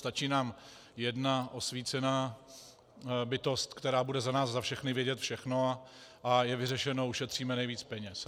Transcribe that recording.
Stačí nám jedna osvícená bytost, která bude za nás za všechny vědět všechno, a je vyřešeno, ušetříme nejvíc peněz.